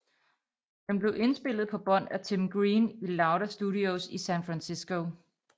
Den blev indspillet på bånd af Tim Green i Louder Studios i San Francisco